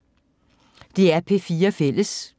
DR P4 Fælles